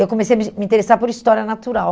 Eu comecei a me me interessar por história natural.